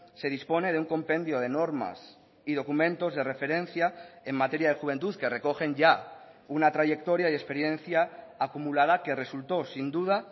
se dispone de un compendio de normas y documentos de referencia en materia de juventud que recogen ya una trayectoria y experiencia acumulada que resultó sin duda